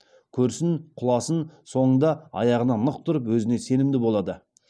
көрсін құласын соңында аяғына нық тұрып өзіне сенімді болады